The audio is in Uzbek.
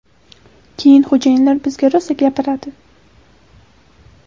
Keyin xo‘jayinlar bizga rosa gapiradi.